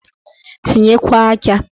Tinyekwuo aja!